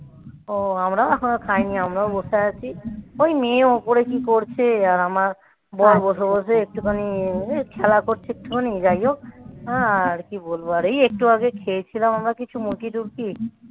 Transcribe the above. ও আমরাও এখনো খাইনি. আমরাও বসে আছি. ওই মেয়ে ওপরে কি করছে আর আমার বর বসে বসে একটুখানি খেলা করছে একটুখানি. যাই হোক. আর কি বলবো. আর এই একটু আগে খেয়েছিলাম. আমরা কিছু মুড়কি টুড়কি